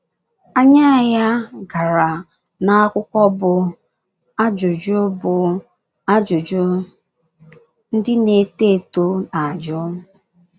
Anya ya gara n’akwụkwọ bụ́ Ajụjụ bụ́ Ajụjụ Ndị Na - eto Eto Na - ajụ.